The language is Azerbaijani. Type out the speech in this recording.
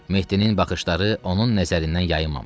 Mehdinin baxışları onun nəzərindən yayımamışdı.